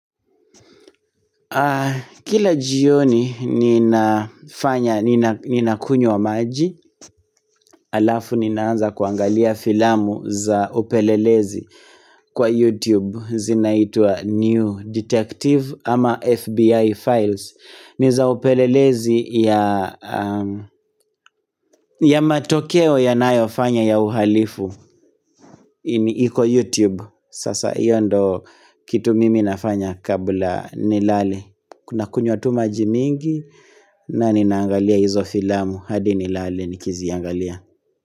Kila jioni nina kunywa maji Alafu ninaanza kuangalia filamu za upelelezi kwa YouTube Zinaitwa New Detective ama FBI Files niza upelelezi ya matokeo yanayo fanya ya uhalifu iko YouTube Sasa hiyo ndio kitu mimi nafanya kabla nilale Kuna kunywa tu maji mingi na ninaangalia izofilamu hadi ni lale ni kiziangalia.